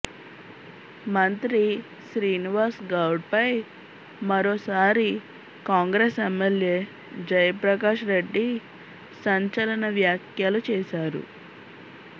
మంత్రి శ్రీనివాస్ గౌడ్ పై మరోసారి కాంగ్రెస్ ఎమ్మెల్యే జయప్రకాష్ రెడ్డి సంచలన వ్యాఖ్యలు చేశారు